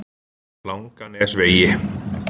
Langanesvegi